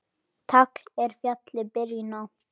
Tagl er fjalli byrjun á.